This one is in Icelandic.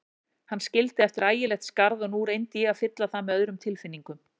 Hann skildi eftir ægilegt skarð og nú reyndi ég að fylla það með öðrum tilfinningum.